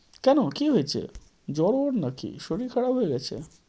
কেন? কী হয়েছে? জ্বরনাকি, শরীর খারাপ হয়ে গেছে?